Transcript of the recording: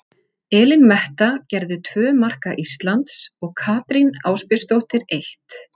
Elín Metta gerði tvö marka Íslands og Katrín Ásbjörnsdóttir eitt.